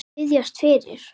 Biðjast fyrir?